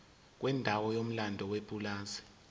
kwendawo enomlando yepulazi